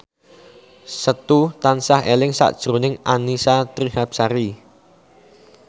Setu tansah eling sakjroning Annisa Trihapsari